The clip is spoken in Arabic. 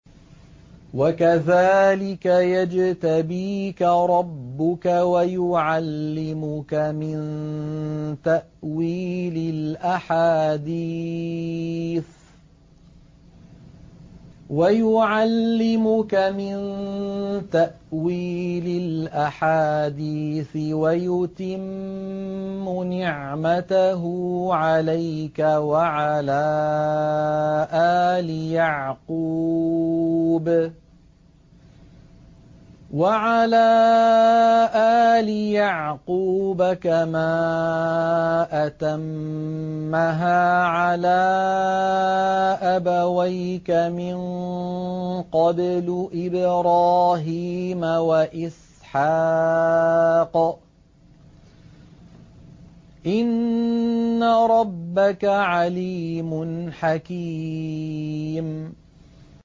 وَكَذَٰلِكَ يَجْتَبِيكَ رَبُّكَ وَيُعَلِّمُكَ مِن تَأْوِيلِ الْأَحَادِيثِ وَيُتِمُّ نِعْمَتَهُ عَلَيْكَ وَعَلَىٰ آلِ يَعْقُوبَ كَمَا أَتَمَّهَا عَلَىٰ أَبَوَيْكَ مِن قَبْلُ إِبْرَاهِيمَ وَإِسْحَاقَ ۚ إِنَّ رَبَّكَ عَلِيمٌ حَكِيمٌ